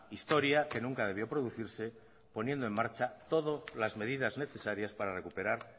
historia que nunca debió producirse poniendo en marcha todo las medidas necesarias para recuperar